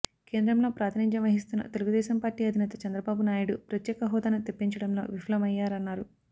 కేంద్రంలో ప్రాతినిధ్యం వహిస్తున్న తెలుగుదేశం పార్టీ అధినేత చంద్రబాబు నాయుడు ప్రత్యక హోదాను తెప్పించడంలో విఫలమయ్యారన్నారు